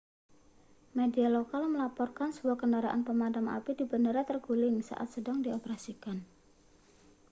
media lokal melaporkan sebuah kendaraan pemadam api di bandara terguling saat sedang dioperasikan